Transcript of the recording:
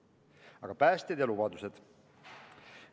Aga päästjad ja lubadused?